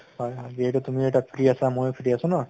হয় হয় যিহেতু তুমি এটা free আছা, ময়ো free আছো ন?